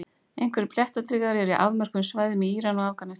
Einhverjir blettatígrar eru á afmörkuðum svæðum í Íran og Afganistan.